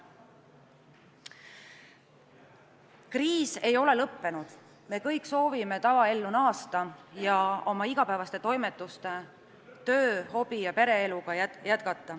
Kriis ei ole lõppenud, me kõik soovime tavaellu naasta ja jätkata oma igapäevaseid toimetusi, tööd, hobisid ja pereelu.